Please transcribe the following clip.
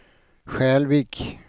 Skälvik